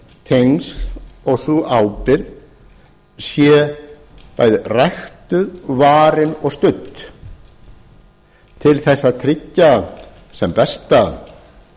tengsl og sú ábyrgð sé bæði ræktuð varin og studd til þess að tryggja sem besta